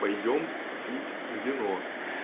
пойдём пить вино